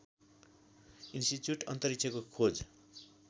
institute अन्तरिक्षको खोज